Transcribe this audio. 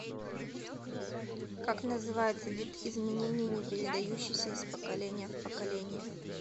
как называется вид изменений не передающийся из поколения в поколение